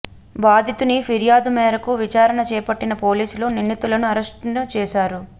బాధితుని ఫిర్యాదు మేరకు విచారణ చేపట్టిన పోలీసులు నిందితులను అరెస్టున చేశారు